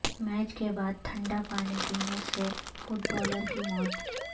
match کے بعد تھنڈا پانی پینے سے فٹبالر کی موت